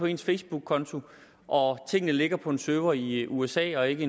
en facebookkonto og tingene ligger på en server i i usa og ikke